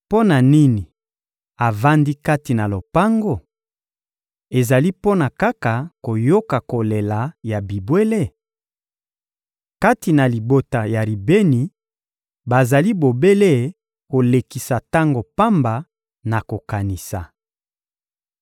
Mpo na nini avandi kati na lopango? Ezali mpo na kaka koyoka kolela ya bibwele? Kati na libota ya Ribeni, bazali bobele kolekisa tango pamba na kokanisa.